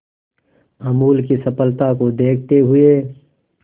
अमूल की सफलता को देखते हुए